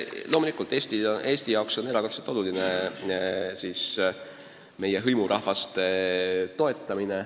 Loomulikult on Eesti jaoks erakordselt oluline meie hõimurahvaid toetada.